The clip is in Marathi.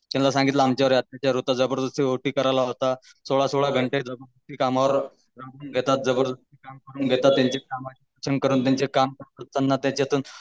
तिला सांगितलं आमच्यावर अत्याचार होते जबरदस्ती ओटी सोळा सोळा घन्टा कामावर राबवून घेतात जबरदस्ती काम करून घेता